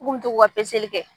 Kuw bu tu ka peseli kɛ.